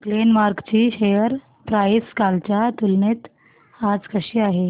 Glenmark ची share price कालच्या तुलनेत आज कशी आहे